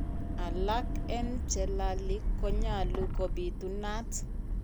Alak en chelali konyalu ko bitunat.